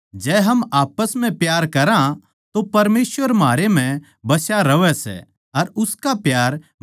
हमनै देख भी लिया अर गवाही देवा सां के पिता परमेसवर नै बेट्टे ताहीं दुनिया का उद्धारकर्ता बणाकै भेज्झा सै